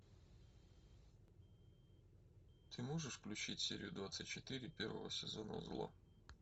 ты можешь включить серию двадцать четыре первого сезона зло